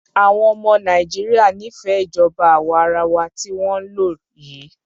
Àwọn ọmọ Nàìjíríà nífẹẹ ìjọba àwa arawa tí wọ́n ń lò yìí.